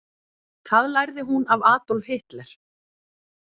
Það lærði hún af Adolf Hitler.